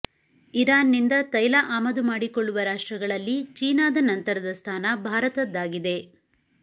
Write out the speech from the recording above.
ಇರಾನ್ನಿಂದ ತೈಲ ಆಮದು ಮಾಡಿಕೊಳ್ಳುವ ರಾಷ್ಟ್ರಗಳಲ್ಲಿ ಚೀನಾದ ನಂತರದ ಸ್ಥಾನ ಭಾರತದ್ದಾಗಿದೆ